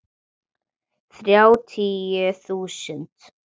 Þrjátíu þúsund!